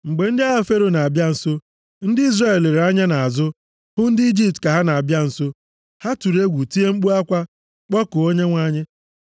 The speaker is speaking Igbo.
Mgbe ndị agha Fero na-abịa nso, ndị Izrel lere anya nʼazụ, hụ ndị Ijipt ka ha na-abịa nso. Ha tụrụ egwu, tie mkpu akwa, kpọkuo Onyenwe anyị.